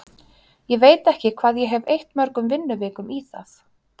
Ég veit ekki hvað ég hef eytt mörgum vinnuvikum í það.